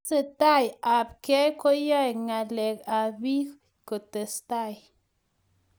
Tesetai ab kei koyae ngalelt ab piik kotestai